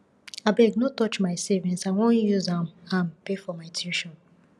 abeg no touch my savings i wan use am am pay for my tuition